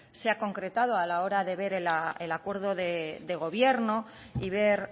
se ha concretado a la hora de ver el acuerdo de gobierno y ver